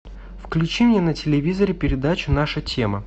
включи мне на телевизоре передачу наша тема